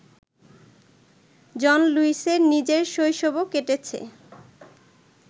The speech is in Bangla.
জন লুইসের নিজের শৈশবও কেটেছে